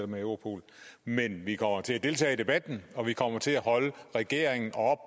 med europol men vi kommer til at deltage i debatten og vi kommer til at holde regeringen